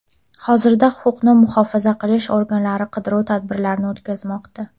Hozirda huquqni muhofaza qilish organlari qidiruv tadbirlarini o‘tkazmoqda.